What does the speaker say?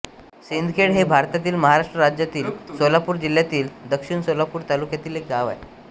सिंदखेड हे भारतातील महाराष्ट्र राज्यातील सोलापूर जिल्ह्यातील दक्षिण सोलापूर तालुक्यातील एक गाव आहे